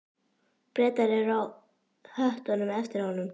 Bretar eru á höttunum eftir honum.